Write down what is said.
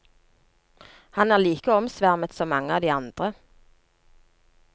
Han er like omsvermet som mange av de andre.